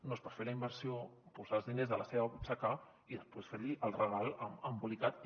no es pot fer la inversió posar els diners de la seva butxaca i després fer·li el regal embolicat i